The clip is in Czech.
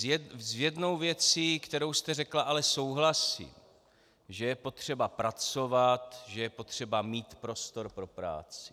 S jednou věcí, kterou jste řekla, ale souhlasím, že je potřeba pracovat, že je potřeba mít prostor pro práci.